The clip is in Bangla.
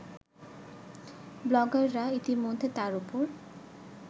ব্লগাররা ইতিমধ্যে তার ওপর